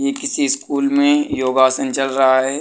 ये किसी स्कूल में योगासन चल रहा है।